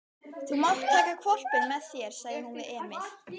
Þú mátt taka hvolpinn með þér, sagði hún við Emil.